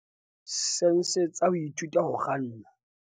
sense tsa ho ithuta ho kganna.